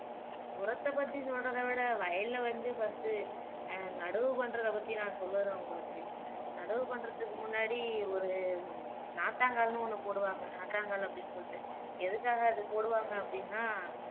உரத்த பத்தி சொல்றதவிட வயல்ல வந்து first உ அஹ் நடவு பண்ணுறது பத்தி நா சொல்லுறேன் உங்களுக்கு நடவு பண்ணுறதுக்கு முன்னாடி ஒரு நாத்தாங்கால்னு ஒன்னு போடுவாங்க நாற்றாங்கால் அப்படின்னு சொல்லிட்டு எதுக்காக அப்படி போடுவாங்க அப்படின்னா